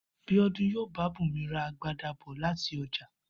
Bíó̩dún yóò bá Bùnmi ra agbada bò̩ láti o̩jà